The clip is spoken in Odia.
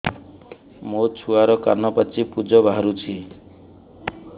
ମୋ ଛୁଆର କାନ ପାଚି ପୁଜ ବାହାରୁଛି